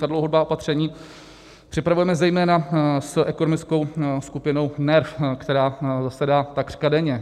Ta dlouhodobá opatření připravujeme zejména s ekonomickou skupinou NERV, která zasedá takřka denně.